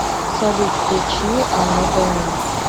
салют включи аннодомини